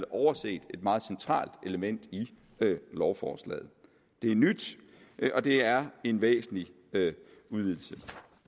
overset et meget centralt element i lovforslaget det er nyt og det er en væsentlig udvidelse